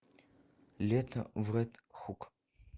лето в ред хук